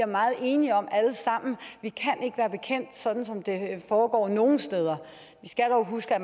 meget enige om alle sammen vi kan ikke være bekendt sådan som det foregår nogle steder vi skal dog huske at